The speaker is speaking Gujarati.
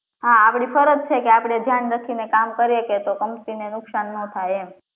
હા આપડી ફરજ છે કે આપડે ધ્યાન રાખીને કામ કરીએ કે કંપની ને નુકશાન ના થાય એમ